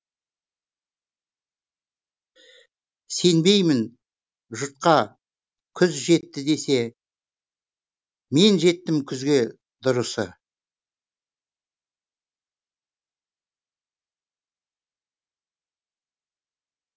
сенбеймін жұртқа күз жетті десе мен жеттім күзге дұрысы